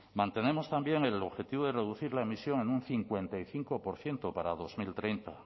mantenemos también el objetivo de reducir la emisión en un cincuenta y cinco por ciento para dos mil treinta